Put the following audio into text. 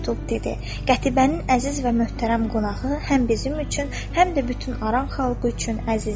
Qətibənin əziz və möhtərəm qonağı həm bizim üçün, həm də bütün aran xalqı üçün əzizdir.